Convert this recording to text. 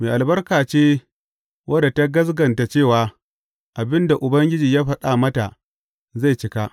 Mai albarka ce wadda ta gaskata cewa abin da Ubangiji ya faɗa mata zai cika!